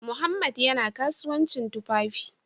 Mohammed yana kasuwancin tufafi